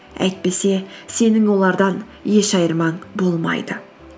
әйтпесе сенің олардан еш айырмаң болмайды